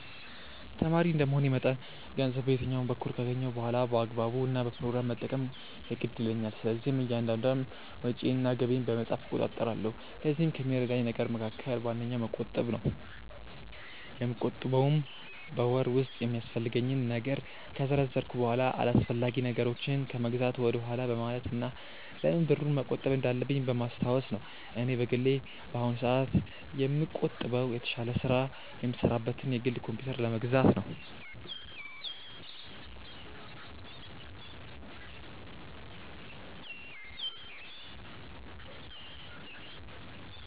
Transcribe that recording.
ተማሪ እንደመሆኔ መጠን ገንዘብ በየትኛውም በኩል ካገኘሁ በኋላ በአግባቡ እና በፕሮግራም መጠቀም የግድ ይለኛል። ስለዚህም እያንዳንዷን ወጪዬን እና ገቢዬን በመጻፍ እቆጣጠራለሁ። ለዚህም ከሚረዳኝ ነገር መካከል ዋነኛው መቆጠብ ነው። የምቆጥበውም በወር ውስጥ የሚያስፈልገኝን ነገር ከዘረዘርኩ በኋላ አላስፈላጊ ነገሮችን ከመግዛት ወደኋላ በማለት እና ለምን ብሩን መቆጠብ እንዳለብኝ በማስታወስ ነው። እኔ በግሌ በአሁኑ ሰአት ላይ የምቆጥበው የተሻለ ስራ የምሰራበትን የግል ኮምፕዩተር ለመግዛት ነው።